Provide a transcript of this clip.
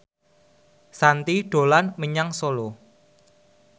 Shanti dolan menyang Solo